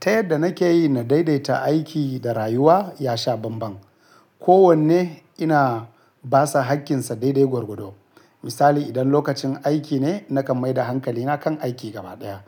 Ta yadda nake yi na daidaita aiki da rayuwa ya sha banban. Ko wanne ina basa hakkinsa daidai gwargwado. Misali idan lokacin aiki ne nakan maida hankalina kan aiki gabaɗaya.